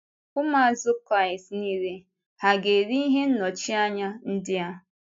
Ụmụazụ Kraịst niile hà ga-eri ihe nnọchianya ndị a?